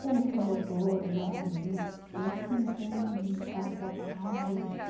Temos promotores, jornalistas, enfim, tem advogados.